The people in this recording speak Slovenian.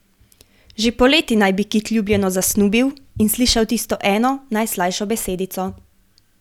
Že poleti naj bi Kit ljubljeno zasnubil in slišal tisto eno, najslajšo besedico.